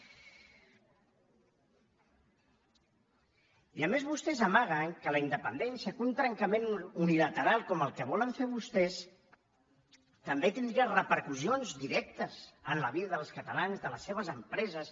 i a més vostès amaguen que la independència que un trencament unilateral com el que volen fer vostès també tindria repercussions directes en la vida dels catalans de les seves empreses